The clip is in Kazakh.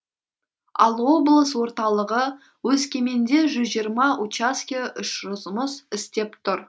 ал облыс орталығы өскеменде жүз жиырма учаске жұмыс істеп тұр